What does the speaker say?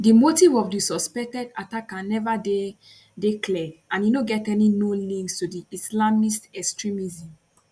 di motive of di suspected attacker neva dey dey clear and e no get any known links to islamist extremism